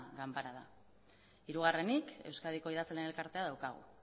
ganbara da hirugarrenik euskadiko idazleen elkartea daukagu